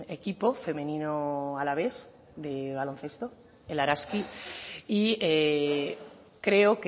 equipo femenino alavés de baloncesto el araski y creo